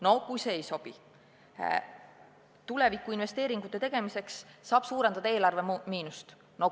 No kui see ei sobi, siis tulevikku investeeringute tegemiseks saab suurendada eelarve miinust.